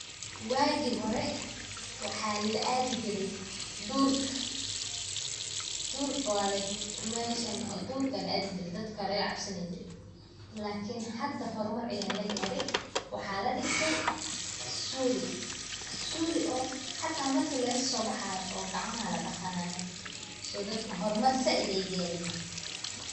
Wagi hore waxa la adhi jiri durka, meshan duurka aya la adhi jiri dadka aya laga cabsani jiri lakin hada horumar aya lagari, waxa ladiisay suli hata marki lagasobaxayo oo gacma ladaqanaya so dadka horumar said ayay garen.